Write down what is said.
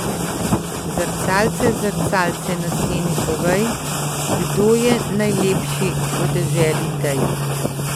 Zrcalce, zrcalce na steni, povej, kdo je najlepši v deželi tej?